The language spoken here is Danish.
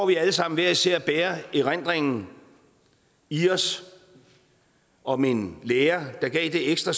vi alle sammen hver især bærer erindringen i os om en lærer der gav det ekstra